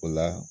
O la